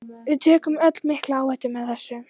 Við tökum öll mikla áhættu með þessu.